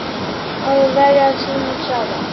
Að verja tíma saman.